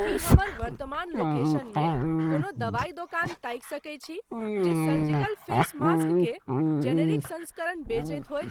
की हमर वर्तमान लोकेशनमे कोनो दवाइ दोकान ताकि सकैत छी जे सर्जिकल फेस मास्क के जेनेरिक संस्करण बेचैत होय ?